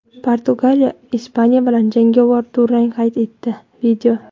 Portugaliya Ispaniya bilan jangovar durang qayd etdi.